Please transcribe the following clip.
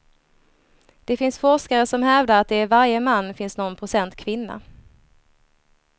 Det finns forskare som hävdar att det i varje man finns nån procent kvinna.